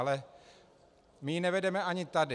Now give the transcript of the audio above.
Ale my ji nevedeme ani tady.